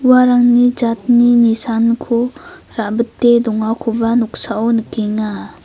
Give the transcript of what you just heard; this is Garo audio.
uarangni jatni nisanko ra·bite dongakoba noksao nikenga.